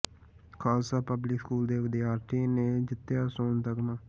Khalsa public school ਦੇ ਵਿਦਿਆਰਥੀ ਨੇ ਜਿੱਤਿਆ ਸੋਨ ਤਮਗਾ